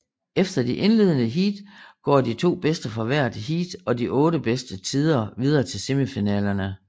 Efter de indledende heats går de to bedste fra hvert heat og de otte bedste tider videre til semifinalerne